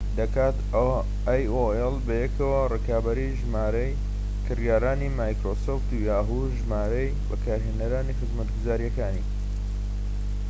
ژمارەی بەکارهێنەرانی خزمەتگوزاریەکانی yahoo! و‎ microsoft ‎بەیەکەوە، ڕکابەری ژمارەی کڕیارەکانی‎ aol ‎دەکات‎